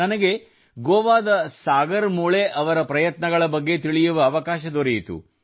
ನನಗೆ ಗೋವಾದ ಸಾಗರ್ ಮುಳೆ ಅವರ ಪ್ರಯತ್ನಗಳ ಬಗ್ಗೆ ತಿಳಿಯುವ ಅವಕಾಶ ದೊರೆಯಿತು